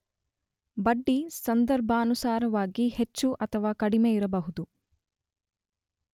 ಬಡ್ಡಿ ಸಂದರ್ಭಾನುಸಾರವಾಗಿ ಹೆಚ್ಚು ಅಥವಾ ಕಡಿಮೆ ಇರಬಹುದು.